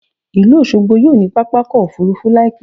Ìlú Òṣogbo yóò ní pápá ọkọ̀ Òfurufú láì pẹ́.